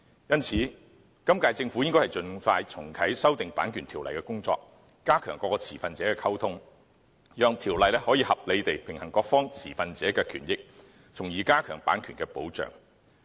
因此，今屆政府應盡快重啟修訂《版權條例》的工作，加強各持份者的溝通，讓《版權條例》可以合理地平衡各持份者的權益，從而加強版權的保障。